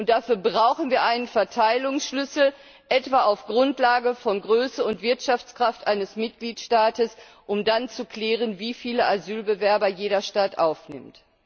Dafür brauchen wir einen Verteilungsschlüssel, etwa auf Grundlage von Größe und Wirtschaftskraft eines Mitgliedstaates, um dann zu klären, wie viele Asylbewerber jeder Staat aufnimmt.